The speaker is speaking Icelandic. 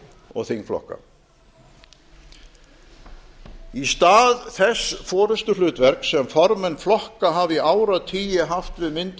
og þingflokka í stað þess forustuhlutverks sem formenn flokka hafa í áratugi haft við myndun